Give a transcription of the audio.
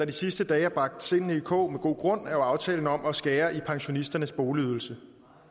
de sidste dage har bragt sindene i kog med god grund er jo aftalen om at skære i pensionisternes boligydelse